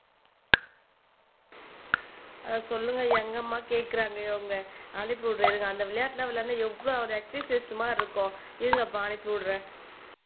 சொல்லுங்க எங்கம்மா கேக்குறாங்க இவங்க அனுப்பி விடற இருங்க அந்த விளையாட்டு எல்லாம் எவ்வளவு ஒரு எக்ஸர்சைஸ் மாதிரி இருக்கும் இருங்கப்பா அனுப்பிவிடுறேன்.